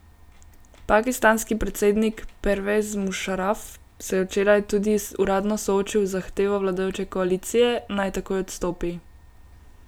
Pakistanski predsednik Pervez Mušaraf se je včeraj tudi uradno soočil z zahtevo vladajoče koalicije, naj takoj odstopi.